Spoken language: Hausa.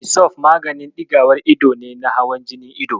Misof maganin ɗigawar ido ne na hawan jinin ido.